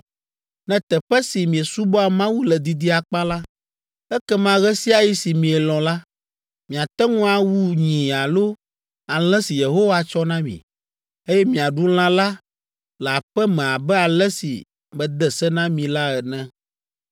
Ne teƒe si miesubɔa Mawu le didi akpa la, ekema ɣe sia ɣi si mielɔ̃ la, miate ŋu awu nyi alo alẽ si Yehowa tsɔ na mi, eye miaɖu lã la le aƒe me abe ale si mede se na mi la ene.